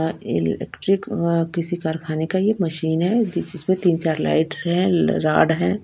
Electric वो किसी कारखाने का मशीन है इसमें तीन चार लाइट है राड है।